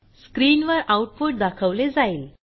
स्क्रीनवर आऊटपुट दाखवले जाईल